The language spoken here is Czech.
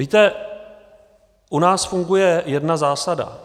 Víte, u nás funguje jedna zásada.